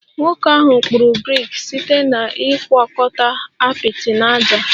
Nwoke ahụ kpụrụ brik site na ịgwakọta apịtị na ájá